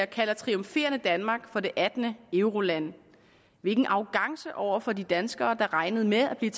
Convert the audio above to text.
kalder triumferende danmark for det attende euroland hvilken arrogance over for de danskere der regnede med at blive